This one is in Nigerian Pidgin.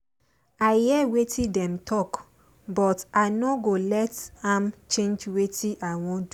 i hear wetin dem talk but i nor go let am change wetin i wan do